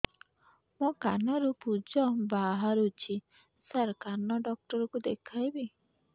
ମୋ କାନରୁ ପୁଜ ବାହାରୁଛି ସାର କାନ ଡକ୍ଟର କୁ ଦେଖାଇବି